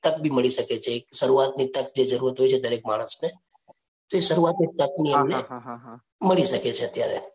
તક બી મળી શકે છે. એક શરૂઆત ની તક જે જરૂરત હોય છે, દરેક માણસને એ શરૂઆત ની તક એમને મળી શકે છે અત્યારે.